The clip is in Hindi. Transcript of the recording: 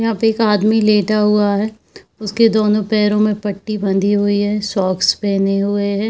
यहाँ पे एक आदमी लेटा हुआ है उसके दोनो पैरो मे पट्टी बंधी हुई है शॉकस पहने हुए है।